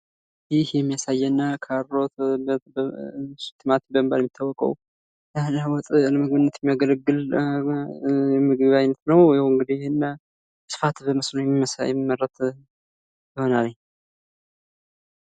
ይህ የሚያሳየን ቲማቲም በመባል የሚታወቀዉ ለወጥ ምግብነት የሚያገልግል የምግብ አይነት ነዉ። በስፋት በመስኖነት የሚያገለግል ይሆናል።